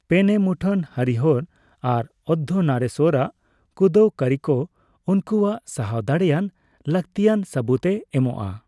ᱯᱮᱱᱮᱢᱩᱴᱷᱟᱹᱱ, ᱦᱚᱨᱤᱦᱚᱨ, ᱟᱨ ᱚᱨᱫᱷᱚᱱᱟᱨᱤᱥᱥᱚᱨ ᱟᱜ ᱠᱩᱸᱫᱟᱹᱣ ᱠᱟᱹᱨᱤᱠᱚ ᱩᱱᱠᱩᱣᱟᱜ ᱥᱟᱦᱟᱣ ᱫᱟᱲᱮᱭᱟᱱ ᱞᱟᱠᱛᱤᱭᱟᱱ ᱥᱟᱵᱩᱫᱽ ᱮ ᱮᱢᱚᱜᱼᱟ ᱾